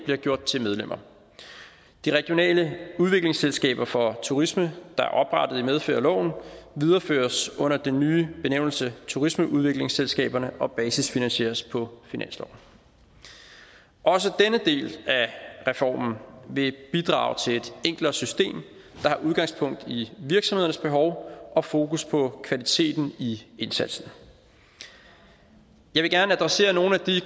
bliver gjort til medlemmer de regionale udviklingsselskaber for turisme der er oprettet i medfør af loven videreføres under den nye benævnelse turismeudviklingsselskaberne og basisfinansieres på finansloven også denne del af reformen vil bidrage til et enklere system der har udgangspunkt i virksomhedernes behov og fokus på kvaliteten i indsatsen jeg vil gerne adressere nogle af de